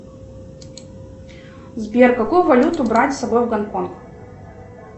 сбер какую валюту брать с собой в гонконг